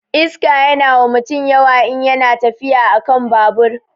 Iska yana wa mutum yawa in yana tafiya akan babur